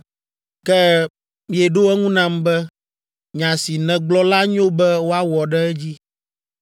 Ke mieɖo eŋu nam be, “Nya si nègblɔ la nyo be woawɔ ɖe edzi.”